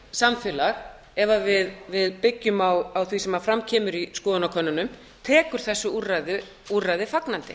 samfélag ef við byggjum á því sem fram kemur í skoðanakönnunum tekur þessu úrræði fagnandi